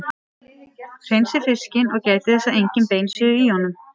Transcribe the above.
Hreinsið fiskinn og gætið þess að engin bein séu í honum.